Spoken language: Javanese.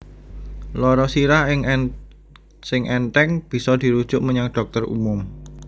Lara sirah sing ènthèng bisa dirujuk menyang dhokter umum